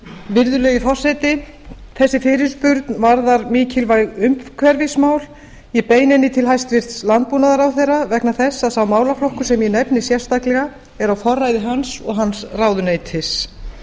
virðulegi forseti þessi fyrirspurn varðar mikilvæg umhverfismál ég beini henni til hæstvirts landbúnaðarráðherra vegna þess að sá málaflokkur sem ég nefni sérstaklega er á forræði hans og hans ráðuneytis